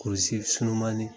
Kurusi surunmanin